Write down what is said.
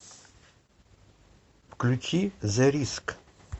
включи зэ риск